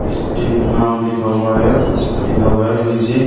Steel नाम लिखा हुआ है जिसपे लिखा हुआ है विजय।